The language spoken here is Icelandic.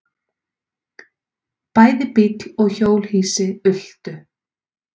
Bæði bíll og hjólhýsi ultu.